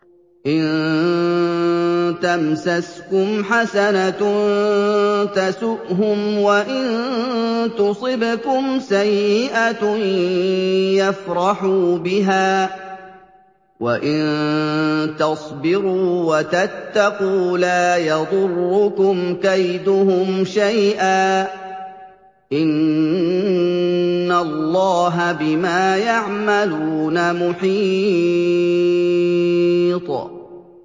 إِن تَمْسَسْكُمْ حَسَنَةٌ تَسُؤْهُمْ وَإِن تُصِبْكُمْ سَيِّئَةٌ يَفْرَحُوا بِهَا ۖ وَإِن تَصْبِرُوا وَتَتَّقُوا لَا يَضُرُّكُمْ كَيْدُهُمْ شَيْئًا ۗ إِنَّ اللَّهَ بِمَا يَعْمَلُونَ مُحِيطٌ